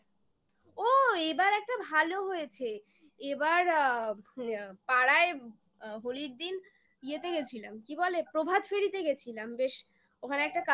ও এবার একটা ভালো হয়েছে এবার আ পাড়ায় হোলির দিন ইয়েতে গেছিলাম কি বলে? প্রভাতফেরিতে গেছিলাম বেশ ওখানে একটা cultural